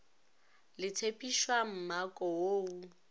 le tshephišwa mmako wo o